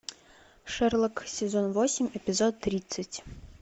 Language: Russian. шерлок сезон восемь эпизод тридцать